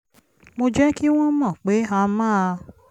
mo jẹ́ kí wọ́n mọ̀ pé a máa